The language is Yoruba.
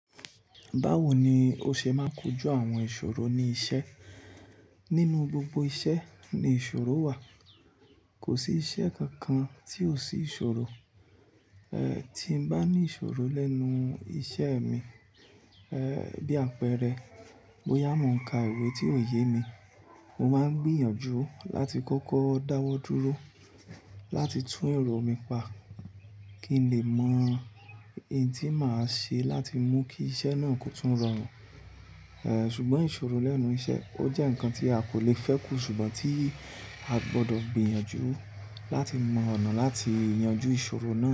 Báwo ní o ṣe máa kojú àwọn ìṣòro ní iṣẹ́? Nínú gbogbo iṣẹ́ ní ìṣòro wà. Kò sí iṣẹ́ kánkan tí ò sí ìṣòro. Ẹ, tí n bá ní ìṣòro lẹ́nu iṣẹ́ mi, ẹ ẹn, bí àpẹẹrẹ, bóyá mọ ń ká ìwé tí ò yé mi, mo máa ń gbìyànjú láti kọ́kọ́ dáwọ́ dúró láti tún èrò mi pa kín lẹ mọ í tí má ṣe láti mú kí iṣẹ nà kì o rọrùn. Ẹ, ṣùgbọ́n ìṣòro lẹ́nu iṣẹ́, ó jẹ́ ǹkan tí a kò le fẹ́ kúsu mọ ṣùgbọ́n tí a gbọdọ̀ gbìyànjú láti mọ ọ̀nà láti yanjú ìṣòro náà.